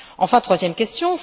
Enfin, troisième question.